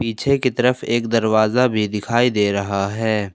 पीछे की तरफ एक दरवाजा भी दिखाई दे रहा है।